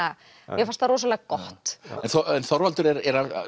mér fannst það rosalega gott en Þorvaldur er